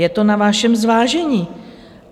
Je to na vašem zvážení.